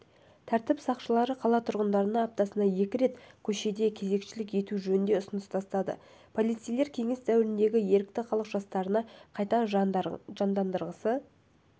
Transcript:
тәртіп сақшылары қала тұрғындарына аптасына екі рет көшеде кезекшілік ету жөнінде ұсыныс тастады полицейлер кеңес дәуіріндегі ерікті халық жасақтарын қайта жандандырғысы